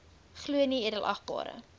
glo nee edelagbare